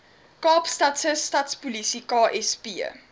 kaapstadse stadspolisie ksp